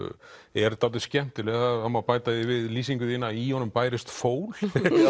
er dálítið skemmtileg það má bæta því við lýsingu þína að í honum bærist fól